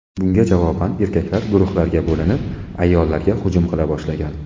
Bunga javoban erkaklar guruhlarga bo‘linib, ayollarga hujum qila boshlagan.